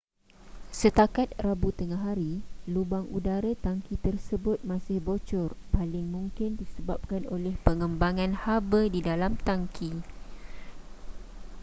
setakat rabu tengahari lubang udara tangki tersebut masih bocor paling mungkin disebabkan oleh pengembangan haba di dalam tangki